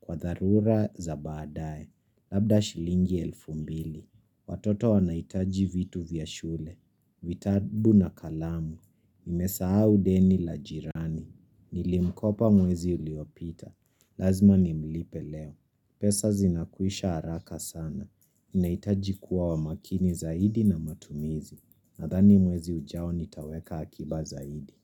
Kwa dharura za baadaye. Labda shilingi elfu mbili. Watoto wanahitaji vitu vya shule. Vitabu na kalamu Nimesahau deni la jirani Nilimkopa mwezi uliopita Lazima nimlipe leo pesa zinakwisha haraka sana nahitaji kuwa wa makini zaidi na matumizi Nadhani mwezi ujao nitaweka akiba zaidi.